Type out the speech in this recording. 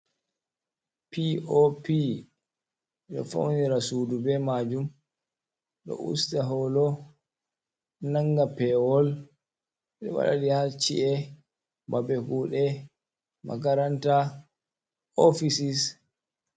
Pop ɓe ɗo faunira suɗu ɓe majum, ɗo usta holo nanga pewol ,ɓe waɗaɗi ha ci’e ɓaɓe kuɗe makaranta ofisis.